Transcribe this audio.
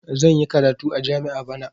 Zan yi karatu a jami'a bana.